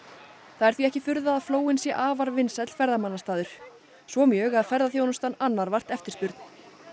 það er því ekki furða að flóinn sé afar vinsæll ferðamannastaður svo mjög að ferðaþjónustan annar vart eftirspurn